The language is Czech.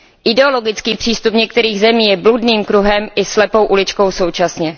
Ideologický přístup některých zemí je bludným kruhem i slepou uličkou současně.